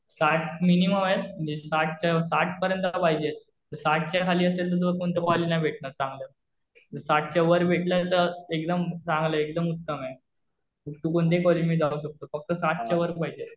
साठ मिनिमम आहेत. साठ पर्यंत तर पाहिजेच. साठच्या खाली असेल तर तुला कोणतं कॉलेज नाही भेटणार चांगलं. जर साठच्या वर भेटलं तर एकदम चांगलं. एकदम उत्तम आहे. तू कोणत्याही कॉलेजमध्ये जाऊ शकतो. फक्त साठच्या वर पाहिजे.